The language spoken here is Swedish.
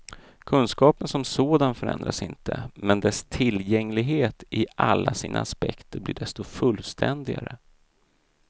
Kunskapen som sådan förändras inte, men dess tillgänglighet i alla sina aspekter blir desto fullständigare.